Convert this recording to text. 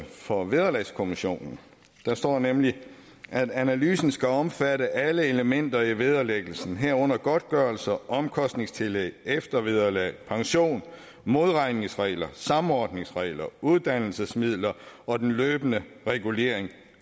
for vederlagskommissionen der står nemlig at analysen skal omfatte alle elementer i vederlæggelsen herunder godtgørelser omkostningstillæg eftervederlag pension modregningsregler samordningsregler uddannelsesmidler og den løbende regulering